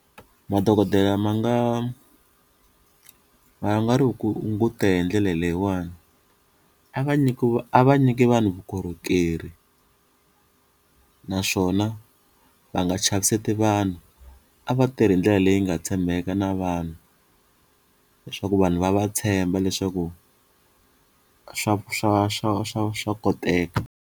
Madokodela ma nga ma nga ri ku hunguta hi ndlela leyiwani a va nyikiwa a va nyiki vanhu vukorhokeri naswona va nga chaviseti vanhu, a va tirhi hi ndlela leyi nga tshembeka na vanhu leswaku vanhu va va tshemba leswaku swa swa swa swa swa koteka.